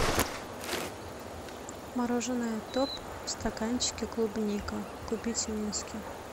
мороженое топ в стаканчике клубника купить в минске